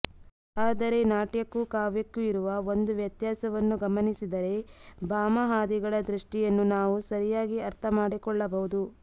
ಆದರೆ ನಾಟ್ಯಕ್ಕೂ ಕಾವ್ಯಕ್ಕೂ ಇರುವ ಒಂದು ವ್ಯತ್ಯಾಸವನ್ನು ಗಮನಿಸಿದರೆ ಭಾಮಹಾದಿಗಳ ದೃಷ್ಟಿಯನ್ನು ನಾವು ಸರಿಯಾಗಿ ಅರ್ಥಮಾಡಿಕೊಳ್ಳಬಹುದು